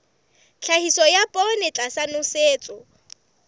tlhahiso ya poone tlasa nosetso